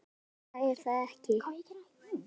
Vika er það ekki?